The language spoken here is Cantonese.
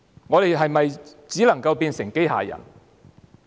我們是否只能變成機械人？